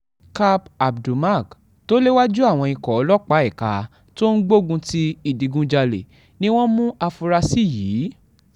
kap abdulmak tó léwájú àwọn ikọ̀ ọlọ́pàá ẹ̀ka tó ń gbógun ti ìdígunjalè ni wọ́n mú àfúrásì yìí